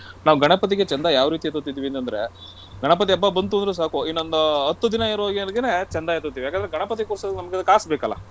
ನಾವು ಗಣಪತಿಗೆ ಚಂದಾ ಯಾವ್ ರೀತಿ ಎತ್ತುತ್ತಿದ್ವಿ ಅಂತಂದ್ರೆ , ಗಣಪತಿ ಹಬ್ಬ ಬಂತು ಅಂದ್ರೆ ಸಾಕು ಇನ್ನೊಂದು ಹತ್ತು ದಿನ ಇರುವಾಗಲೇನೆ ಚಂದಾ ಎತ್ತುತ್ತೀವಿ. ಯಾಕಂದ್ರೆ ಗಣಪತಿ ಕೂರ್ಸೋಕೆ ನಮ್ಗೆ ಕಾಸ್ ಬೇಕಲ್ಲ,